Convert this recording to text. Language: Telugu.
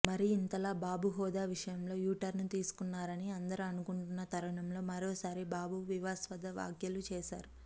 మరి ఇంతలా బాబు హోదా విషయంలో యూటర్న్ తీసుకున్నారని అందరూ అనుకుంటున్న తరుణంలో మరోసారి బాబు వివాదాస్పద వ్యాఖలు చేశారు